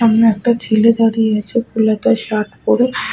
সামনে একটা ছেলে দাঁড়িয়ে আছে ফুলহাতা শার্ট পরে।